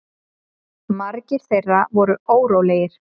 Margir þeirra voru órólegir.